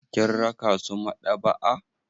Kin raka su maɗaba'a.